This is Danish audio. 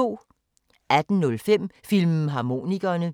18:05: Filmharmonikerne